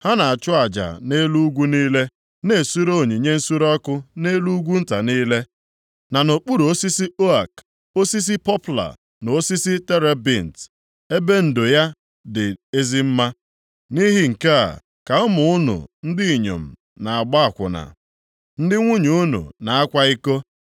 Ha na-achụ aja nʼelu ugwu niile, na-esure onyinye nsure ọkụ nʼelu ugwu nta niile, na nʼokpuru osisi ook, osisi pọpla na osisi terebint, ebe ndo ya dị ezi mma. Nʼihi nke a ka ụmụ unu ndị inyom na-agba akwụna, ndị nwunye ụmụ unu na-akwa iko.